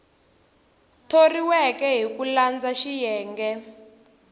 thoriweke hi ku landza xiyenge